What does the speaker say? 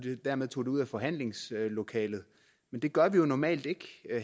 dermed tog det ud af forhandlingslokalet det gør vi jo normalt ikke